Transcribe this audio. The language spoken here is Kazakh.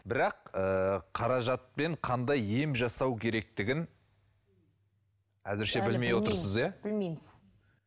бірақ ыыы қаражатпен қандай ем жасау керектігін әзірше білмей отырсыз иә білмейміз